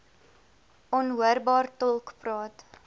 onhoorbaar tolk praat